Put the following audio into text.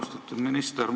Austatud minister!